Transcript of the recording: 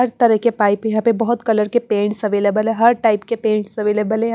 हर तरह के पाइप यहां पे बहुत कलर के पेंट्स अवेलेबल है हर टाइप के पेंट्स अवेलेबल है।